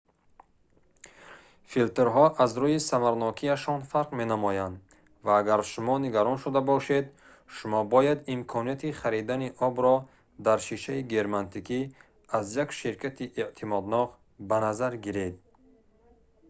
филтрҳо аз рӯи самаранокияшон фарқ менамоянд ва агар шумо нигарон шуда бошед шумо бояд имконияти харидани обро дар шишаи герметикӣ аз як ширкати эътимоднок ба назар гиред